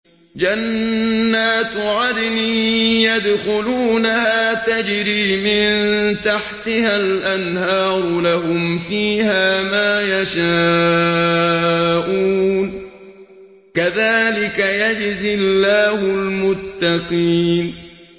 جَنَّاتُ عَدْنٍ يَدْخُلُونَهَا تَجْرِي مِن تَحْتِهَا الْأَنْهَارُ ۖ لَهُمْ فِيهَا مَا يَشَاءُونَ ۚ كَذَٰلِكَ يَجْزِي اللَّهُ الْمُتَّقِينَ